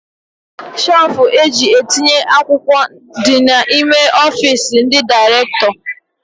Shelfu eji etinye akwụkwọ dị n'ime ọfiisi ndị direktọ